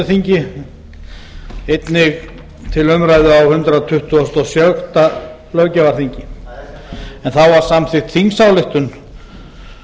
þingi einnig til umræðu á hundrað tuttugasta og sjötta löggjafarþingi en þá var samþykkt þingsályktun